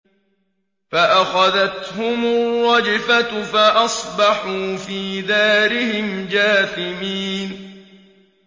فَأَخَذَتْهُمُ الرَّجْفَةُ فَأَصْبَحُوا فِي دَارِهِمْ جَاثِمِينَ